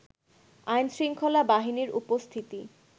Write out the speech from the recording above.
আইনশৃঙ্খলা বাহিনীর উপস্থিতি